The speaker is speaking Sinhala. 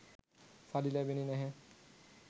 සල්ලි ලැබෙන්නේ නැහැ.